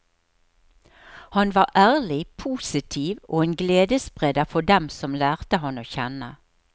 Han var ærlig, positiv og en gledesspreder for dem som lærte ham å kjenne.